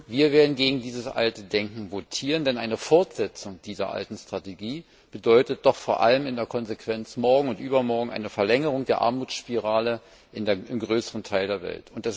Wir werden gegen dieses alte Denken votieren, denn eine Fortsetzung dieser alten Strategie bedeutet doch vor allem in der Konsequenz morgen und übermorgen eine Verlängerung der Armutsspirale im größeren Teil der Welt.